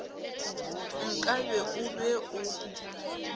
nka be o be o